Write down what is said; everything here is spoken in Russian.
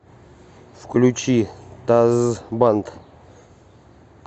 включи дазз банд